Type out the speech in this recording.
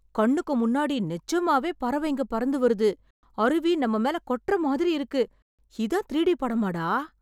கண்ணுக்கு முன்னாடி நெஜமாவே பறவைங்க பறந்து வருது, அருவி நம்ம மேல கொட்டற மாதிரி இருக்கு... இதான் த்ரீ டி படமாடா...!